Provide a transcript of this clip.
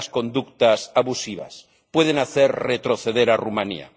Y las conductas abusivas pueden hacer retroceder a Rumanía.